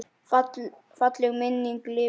Falleg minning lifir áfram.